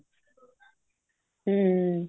ਹਮ